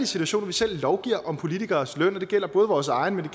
situation at vi selv lovgiver om politikeres løn og det gælder både vores egen men